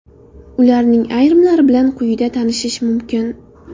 Ularning ayrimlari bilan quyida tanishish mumkin.